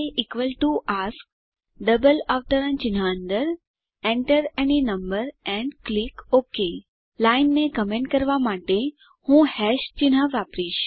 aask double અવતરણચિહ્ન અંદર enter અન્ય નંબર એન્ડ ક્લિક ઓક લાઈનને કમેન્ટ કરવાં માટે હું hash ચિન્હ વાપરીશ